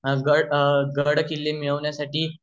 गड किल्ले मिळवण्यासाठी